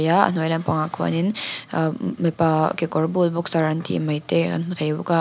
a hnuai lampangah khian in ahh mipa kekawrbul boxer an tih mai te kan hmu thei bawk a--